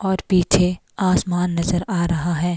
और पीछे आसमान नजर आ रहा है।